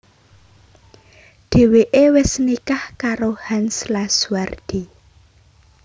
Dhèwèké wis nikah karo Hans Lazuardi